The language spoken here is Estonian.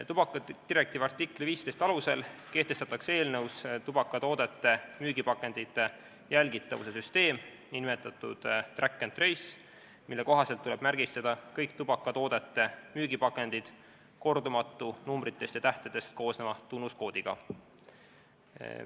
Tubakadirektiivi artikli 15 alusel kehtestatakse eelnõus tubakatoodete müügipakendite jälgitavuse süsteem, nn track and trace, mille kohaselt tuleb kõik tubakatoodete müügipakendid märgistada kordumatu numbritest ja tähtedest koosneva tunnuskoodiga.